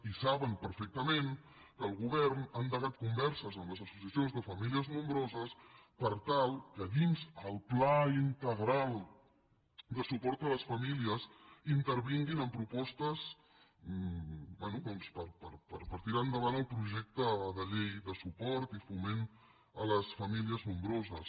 i saben perfectament que el govern ha endegat converses amb les associacions de famílies nombroses per tal que dins el pla integral de suport a les famílies intervin·guin amb propostes bé per tirar endavant el projecte de llei de suport i foment a les famílies nombroses